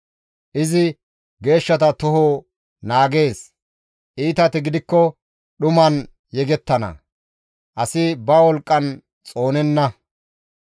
«Izi geeshshata toho naagees; iitati gidikko dhuman yegettana; asi ba wolqqan xoonenna.